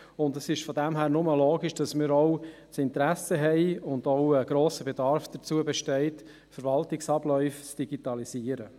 Daher ist es nur logisch, dass wir auch ein Interesse haben und auch ein grosser Bedarf besteht, Verwaltungsabläufe zu digitalisieren.